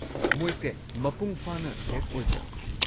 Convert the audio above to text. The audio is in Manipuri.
ꯃꯣꯏꯁꯦ ꯃꯄꯨꯡ ꯐꯥꯅ ꯁꯦꯐ ꯑꯣꯏꯕ꯭ꯔꯥ?